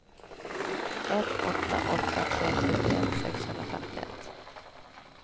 ett åtta åtta tre sjuttioett sexhundrafemtioett